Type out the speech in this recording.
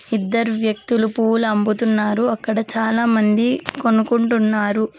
ఇద్దరు వ్యక్తులు పూలు అమ్ముతున్నారు అక్కడ చాలామంది కొనుకుంటున్నారు.